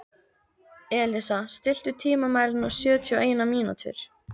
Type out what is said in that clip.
Elísa, stilltu tímamælinn á sjötíu og eina mínútur.